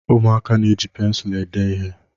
Ụmụaka na-eji pensụl ede ihe.